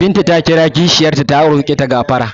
Binta ta kira kishiyar ta ta roƙe ta gafara.